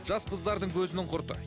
жас қыздардың көзінің құрты